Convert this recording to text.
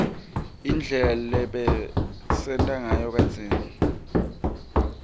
indlela lebabesenta nsayo kadzeni